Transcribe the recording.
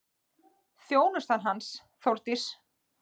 Þjónusta hans, Þórdís